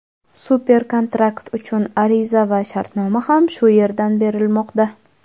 Super-kontrakt uchun ariza va shartnoma ham shu yerdan berilmoqda.